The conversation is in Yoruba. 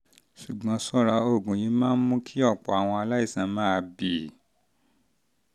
ṣùgbọ́n ṣọ́ra oògùn yìí máa ń mú kí ọ̀pọ̀ àwọn aláìsàn máa bì